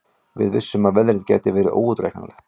Við vissum að veðrið væri óútreiknanlegt